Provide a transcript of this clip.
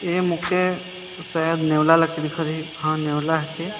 ए मोके शायद नेवला लेखे दिखत हिक हां ये नेवला हके।